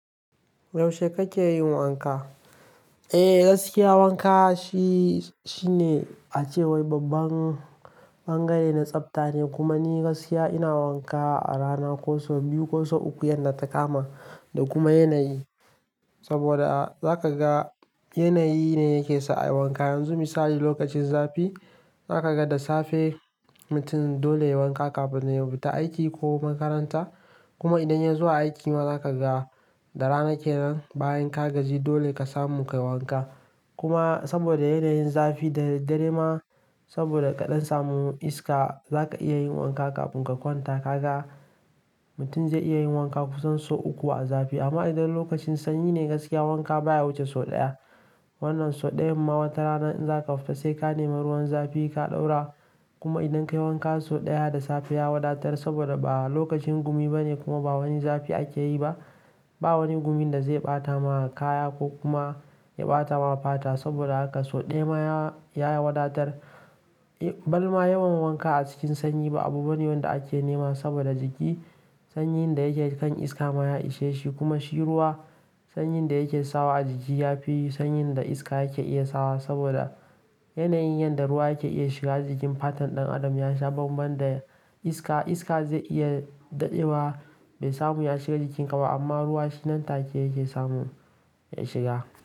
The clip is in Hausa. Yaushe kake yin wanka? Eh, gaskiya wanka shine a cewar babban bangare na tsafta ne. Kuma ni gaskiya ina wanka a rana ko sau biyu ko sau uku, yadda ta kama da kuma yanayi. Saboda a za ka ga yanayi ne yake sa a yi wanka. Yanzu misali lokacin zafi, za ka ga da safe mutum dole yai wanka kafin ya fita aiki ko makaranta. Kuma idan ya zuwa aiki ma za ka ga da rana kenan bayan ka gaji dole ka samu ka yi wanka. Kuma saboda yanayin zafi da dare ma saboda kaɗan samun iska za ka iya yin wanka kafin ka kwanta. Ka ga mutum zai iya yin wanka kusan sau uku a zafi. Amma idan lokacin sanyi ne gaskiya wanka baya wuce sau ɗaya. Wannan sau ɗayan ma watarana idan za ka fita sai ka nemi ruwan zafi ka ɗaura. Kuma idan ka yi wanka sau ɗaya da safe ya wadatar saboda ba lokacin gumi ba ne kuma ba wani zafi ake yi ba, ba wani gumi da zai ɓata ma kaya ko kuma ya ɓata ma fata. Saboda haka sau ɗaya ma ya wadatar. Balma yawan wanka a cikin sanyi ba abu bane wanda ake nema saboda jiki. Sanyinda yake kan iska ma ya ishe shi kuma shi ruwa sanyi inda yake sawa a jiki. Yafi sanyi inda iska yake iya sawa saboda yanayin yadda ruwa yake iya shiga jikin fatan ɗan adam ya sha bambam da iska. Iska zai iya daɗewa bai samu ya shiga jikinka ba amma ruwa shi nan take yake samun ya shiga.